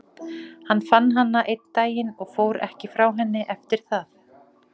Hann fann hana einn daginn og fór ekki frá henni eftir það.